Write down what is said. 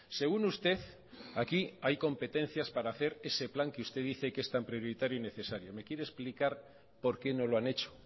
según usted aquí hay competencias para hacer ese plan que usted dice que es tan prioritario y necesario me quiere explicar por qué no lo han hecho